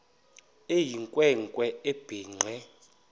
eyinkwe nkwe ebhinqe